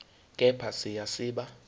kepha siya siba